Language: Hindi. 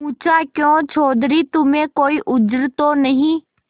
पूछाक्यों चौधरी तुम्हें कोई उज्र तो नहीं